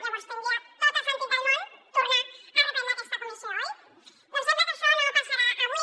llavors tindria tot el sentit del món tornar a reprendre aquesta comissió oi doncs sembla que això no passarà avui